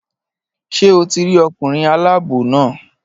Ṣé o ti rí ọkùnrin aláàbò náà?